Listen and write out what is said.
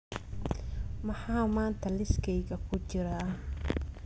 maxaa maanta liiskayga ku jira